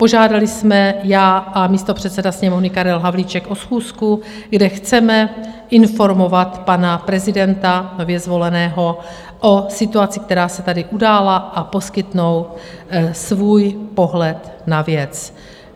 Požádali jsme, já a místopředseda Sněmovny Karel Havlíček, o schůzku, kde chceme informovat pana prezidenta nově zvoleného o situaci, která se tady udála, a poskytnout svůj pohled na věc.